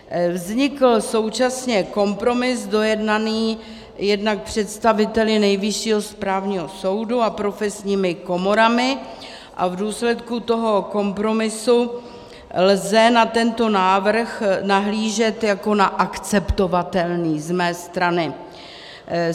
Vznikl současně kompromis dojednaný jednak představiteli Nejvyššího správního soudu a profesními komorami a v důsledku toho kompromisu lze na tento návrh nahlížet jako na akceptovatelný z mé strany.